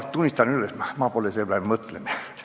Ma tunnistan, et ma pole selle peale mõtelnud.